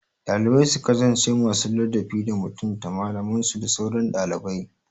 Dalibai su kasance masu ladabi da mutunta malamansu da sauran ɗalibai